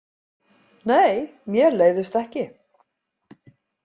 Nei, mér leiðist ekki.